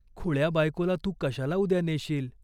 "खुळ्या बायकोला तू कशाला उद्या नेशील?